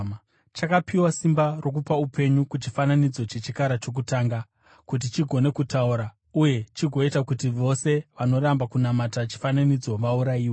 Chakapiwa simba rokupa upenyu kuchifananidzo chechikara chokutanga, kuti chigone kutaura uye chigoita kuti vose vanoramba kunamata chifananidzo vaurayiwe.